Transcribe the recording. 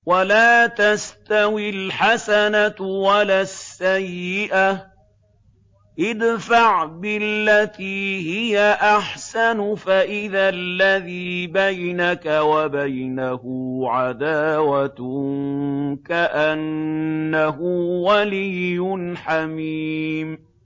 وَلَا تَسْتَوِي الْحَسَنَةُ وَلَا السَّيِّئَةُ ۚ ادْفَعْ بِالَّتِي هِيَ أَحْسَنُ فَإِذَا الَّذِي بَيْنَكَ وَبَيْنَهُ عَدَاوَةٌ كَأَنَّهُ وَلِيٌّ حَمِيمٌ